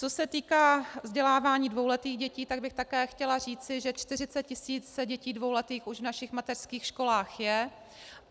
Co se týká vzdělávání dvouletých dětí, tak bych také chtěla říci, že 40 tisíc dětí dvouletých už v našich mateřských školách je.